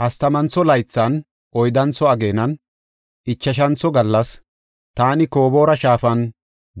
Hastamantho laythan, oyddantho ageenan, ichashantho gallas, taani Koboora shaafan